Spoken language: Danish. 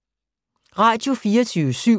Radio24syv